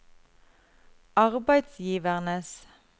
arbeidsgivernes